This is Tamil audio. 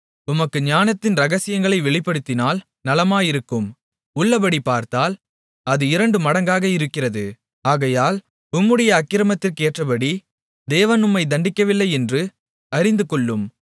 உமக்கு ஞானத்தின் இரகசியங்களை வெளிப்படுத்தினால் நலமாயிருக்கும் உள்ளபடி பார்த்தால் அது இரண்டுமடங்காக இருக்கிறது ஆகையால் உம்முடைய அக்கிரமத்திற்கேற்றபடி தேவன் உம்மைத் தண்டிக்கவில்லையென்று அறிந்துகொள்ளும்